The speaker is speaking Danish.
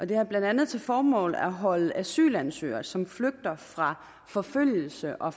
den har blandt andet til formål at holde asylansøgere som flygter fra forfølgelse og